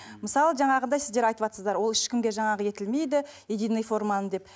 мысалы жаңағындай сіздер айтыватсыздар ол ешкімге жаңағы етілмейді единный форманы деп